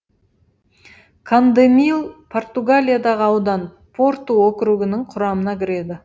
кандемил португалиядағы аудан порту округінің құрамына кіреді